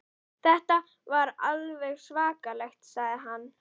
Þetta er alveg svakalegt sagði hann.